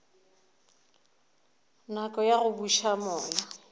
nako ya go buša moya